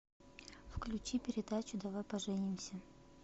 включи передачу давай поженимся